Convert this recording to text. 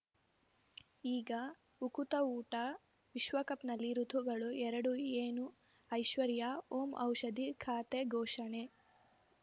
ಈಗ ಉಕುತ ಊಟ ವಿಶ್ವಕಪ್‌ನಲ್ಲಿ ಋತುಗಳು ಎರಡು ಏನು ಐಶ್ವರ್ಯಾ ಓಂ ಔಷಧಿ ಖಾತೆ ಘೋಷಣೆ